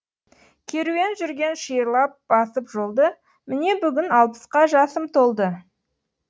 керуен жүрген шиырлап басып жолды міне бүгін алпысқа жасым толды